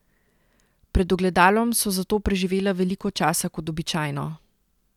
Pred ogledalom so zato preživela veliko časa kot običajno.